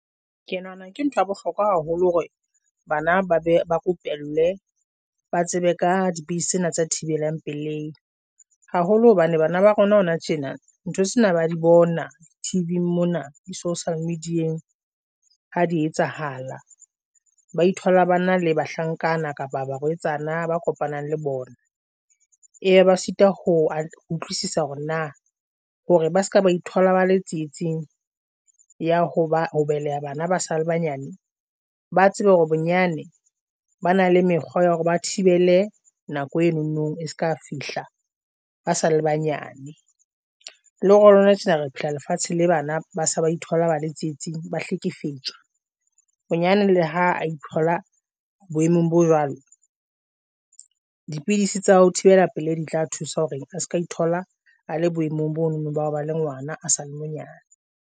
Ke nahana ke ntho ya bohlokwa haholo hore bana ba be ba rupellwe ba tsebe ka di base tsena tsa thibelang peleng haholo hobane bana ba rona hona tjena. Ntho tsena ba di bona T_V mona, di-social media ha di etsahala. Ba ithola ba na le bahlankana kapa barwetsana ba kopanang le bona eya ba star ho utlwisisa hore na hore ba seka ba ithola ba le tsietsing ya ho ba ho beleha. Bana ba sa le banyane ba tsebe hore bonyane ba na le mekgwa ya hore ba thibele nako eno. No e seka fihla ba sa le banyane, le hore lona tjena re pila lefatshe le bana ba sa ba ithola ba le tsietsing, ba hlekefetsoa bonyane le ha e thola. Boemong bo jwalo, dipidisi tsa ho thibela pele di tla thusa hore a se ka ithola a le boemong. Bono bao ba le ngwana a sale monyane.